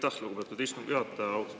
Aitäh, lugupeetud istungi juhataja!